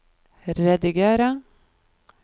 rediger